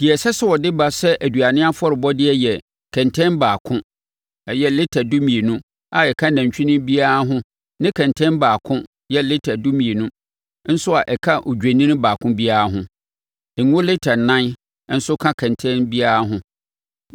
Deɛ ɛsɛ sɛ ɔde ba sɛ aduane afɔrebɔdeɛ yɛ kɛntɛn baako (lita dumienu) a ɛka nantwinini biara ho ne kɛntɛn baako (lita dumienu) nso a ɛka odwennini baako biara ho. Ngo lita ɛnan nso ka kɛntɛn biara ho.